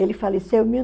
Ele faleceu em mil